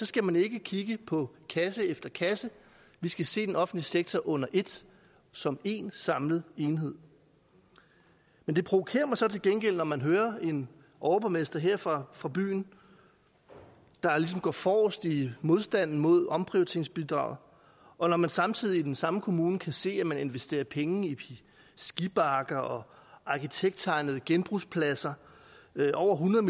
skal man ikke kigge på kasse efter kasse vi skal se den offentlige sektor under et som én samlet enhed men det provokerer mig så til gengæld når man hører en overborgmester her fra fra byen der ligesom går forrest i modstanden mod omprioriteringsbidraget og når man samtidig i den samme kommune kan se at man investerer penge i skibakker og arkitekttegnede genbrugspladser over hundrede